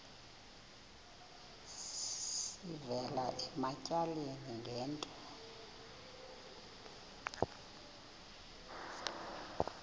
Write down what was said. sivela ematyaleni ngento